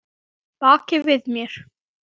Baki við mér?